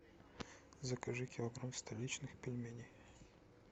закажи килограмм столичных пельменей